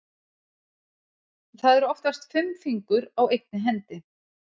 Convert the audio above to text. Það eru oftast fimm fingur á einni hendi.